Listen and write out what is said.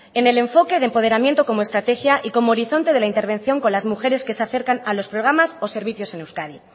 en el enfoque de empoderamiento como estrategia y como horizonte de la intervención con las mujeres que se acercan a los programas o servicios en euskadi